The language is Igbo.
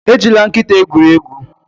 Ejila nkịta egwuri egwu